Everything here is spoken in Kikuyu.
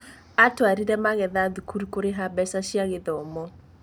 Atwarire magetha thukuru kũrĩha mbeca cia gĩthomo